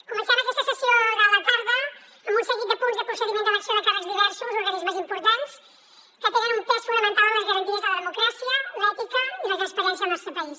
comencem aquesta sessió de la tarda amb un seguit de punts de procediment d’elecció de càrrecs diversos a organismes importants que tenen un pes fonamental en les garanties de la democràcia l’ètica i la transparència al nostre país